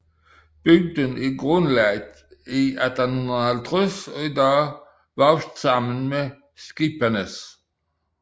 Bygden er grundlagt i 1850 og i dag vokset sammen med Skipanes